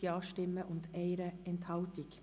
Sie haben diesen Antrag abgelehnt.